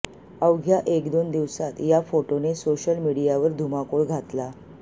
अवघ्या एक दोन दिवसात या फोटोने सोशल मीडियावर धुमाकूळ घातला